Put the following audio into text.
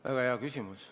Väga hea küsimus.